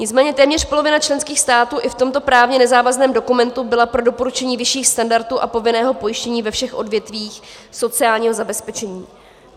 Nicméně téměř polovina členských států i v tomto právně nezávazném dokumentu byla pro doporučení vyšších standardů a povinného pojištění ve všech odvětvích sociálního zabezpečení.